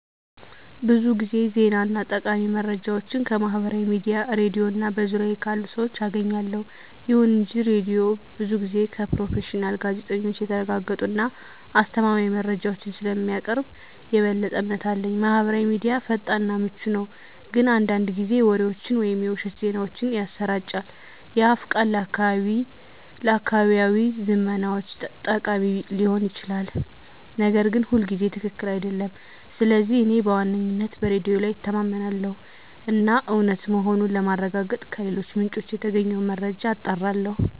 ብዙ ጊዜ ዜና እና ጠቃሚ መረጃዎችን ከማህበራዊ ሚዲያ፣ ሬድዮ እና በዙሪያዬ ካሉ ሰዎች አገኛለሁ። ይሁን እንጂ ሬዲዮው ብዙ ጊዜ ከፕሮፌሽናል ጋዜጠኞች የተረጋገጡ እና አስተማማኝ መረጃዎችን ስለሚያቀርብ የበለጠ እምነት አለኝ። ማህበራዊ ሚዲያ ፈጣን እና ምቹ ነው፣ ግን አንዳንድ ጊዜ ወሬዎችን ወይም የውሸት ዜናዎችን ያሰራጫል። የአፍ ቃል ለአካባቢያዊ ዝመናዎች ጠቃሚ ሊሆን ይችላል, ነገር ግን ሁልጊዜ ትክክል አይደለም. ስለዚህ እኔ በዋነኝነት በሬዲዮ ላይ እተማመናለሁ እና እውነት መሆኑን ለማረጋገጥ ከሌሎች ምንጮች የተገኘውን መረጃ አጣራለሁ።